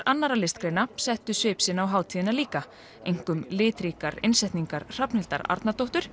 annarra listgreina settu svip sinn á hátíðina líka einkum litríkar innsetningar Hrafnhildar Arnardóttur